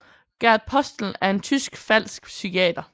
Gert Postel er en tysk falsk psykiater